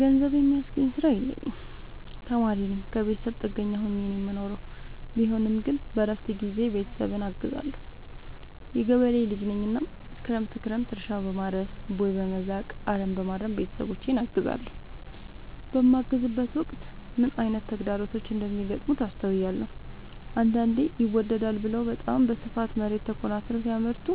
ገንዘብ የሚያስገኝ ስራ የለኝም ተማሪነኝ ከብተሰብ ጥገኛ ሆኜ ነው የምኖረው ቢሆንም ግን በረፍት ጊዜዬ ቤተሰብን አግዛለሁ። የገበሬ ልጅነኝ እናም ክረምት ክረምት እርሻ፣ በማረስ፣ ቦይ፣ በመዛቅ፣ አረምበማረም ቤተሰቦቼን አግዛለሁ። በማግዝበትም ወቅት ምን አይነት ተግዳሮቶች እንደሚገጥሙት አስተውያለሁ። አንዳንዴ ይመደዳል ብለው በታም በስፋት መሬት ተኮናትረው ሲያመርቱ